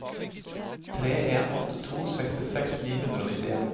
tre en åtte to sekstiseks ni hundre og nittien